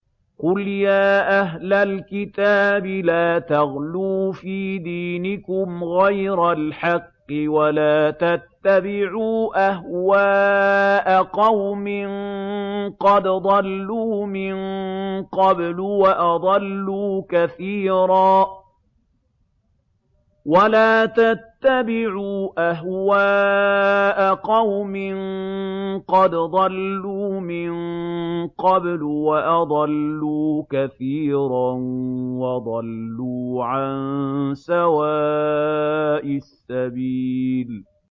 قُلْ يَا أَهْلَ الْكِتَابِ لَا تَغْلُوا فِي دِينِكُمْ غَيْرَ الْحَقِّ وَلَا تَتَّبِعُوا أَهْوَاءَ قَوْمٍ قَدْ ضَلُّوا مِن قَبْلُ وَأَضَلُّوا كَثِيرًا وَضَلُّوا عَن سَوَاءِ السَّبِيلِ